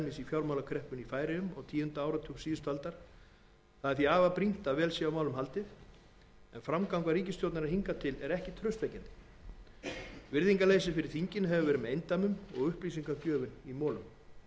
fjármálakreppunni í færeyjum á tíunda áratug síðustu aldar því er afar brýnt að vel sé á málum haldið en framganga ríkisstjórnarinnar hingað til er ekki traustvekjandi virðingarleysi fyrir þinginu hefur verið með eindæmum og upplýsingagjöf í molum í